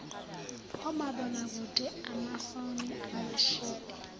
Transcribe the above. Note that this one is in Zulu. omabonakude amafoni amashidi